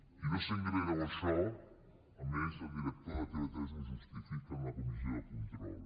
i no sent greu això a més el director de tv3 ho justifica en la comissió de control